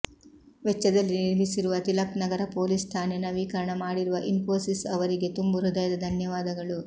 ವೆಚ್ಚದಲ್ಲಿ ನಿರ್ಮಿಸಿರುವ ತಿಲಕ್ ನಗರ ಪೊಲೀಸ್ ಠಾಣೆ ನವೀಕರಣ ಮಾಡಿರುವ ಇನ್ಫೋಸಿಸ್ ಅವರಿಗೆ ತುಂಬು ಹೃದಯದ ಧನ್ಯವಾದಗಳು